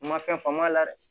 U ma fɛn faamu a la dɛ